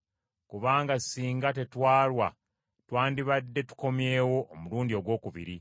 Kubanga singa tetwalwa twandibadde tukomyewo omulundi ogwokubiri.”